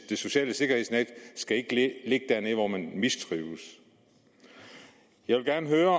det sociale sikkerhedsnet ikke skal ligge dernede hvor man mistrives jeg vil gerne høre